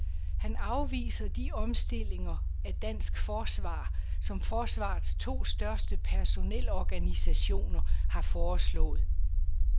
Han afviser de omstillinger af dansk forsvar, som forsvarets to største personel organisationer har foreslået.